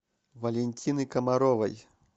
валентины комаровой